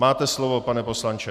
Máte slovo, pane poslanče.